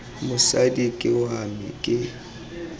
mosadi ke wa me ke